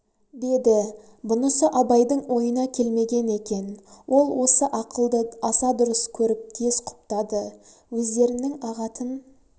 деді бұнысы абайдың ойына келмеген екен ол осы ақылды аса дұрыс көріп тез құптады өздерінің ағатын